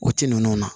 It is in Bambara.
O ti ninnu na